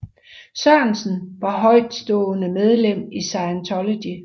Sørensen var højtstående medlem i Scientology